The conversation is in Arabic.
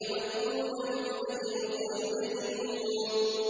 وَدُّوا لَوْ تُدْهِنُ فَيُدْهِنُونَ